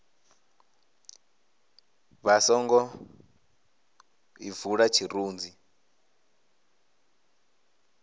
vha songo ḓi bvula tshirunzi